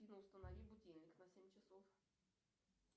установи будильник на семь часов